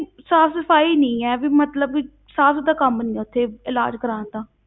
ਸਾਫ਼ ਸਫ਼ਾਈ ਨਹੀਂ ਹੈ, ਵੀ ਮਤਲਬ ਵੀ ਸਾਫ਼ ਸੁਥਰਾ ਕੰਮ ਨੀ ਹੈ ਉੱਥੇ ਇਲਾਜ਼ ਕਰਵਾਉਣ ਦਾ।